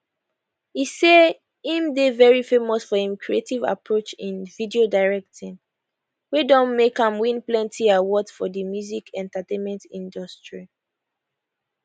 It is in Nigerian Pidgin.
e say im dey very famous for im creative approach in video directing wey don make am win plenty awards for di music entertainment industry